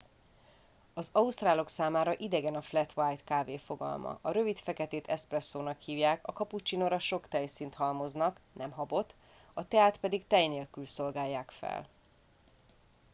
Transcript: az ausztrálok számára idegen a 'flat white' kávé fogalma. a rövid feketét 'eszpresszónak' hívják a kapucsinóra sok tejszínt halmoznak nem habot a teát pedig tej nélkül szolgálják fel